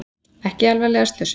Ekki alvarlega slösuð